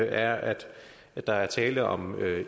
er at der er tale om